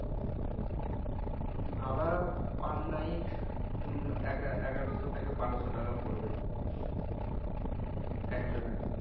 ভাড়া per night হম এগা এগারোশো থেকে বারোশো টাকা পরবে একজনের